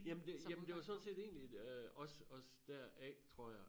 Jamen det jamen det var sådan set egentlig øh også også deraf tror jeg